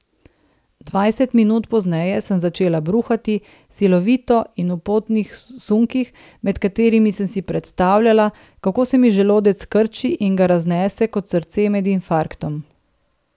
Dvajset minut pozneje sem začela bruhati, silovito in v potnih sunkih, med katerimi sem si predstavljala, kako se mi želodec krči in ga raznese kot srce med infarktom.